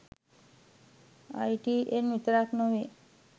ITN විතරක් නෙවේ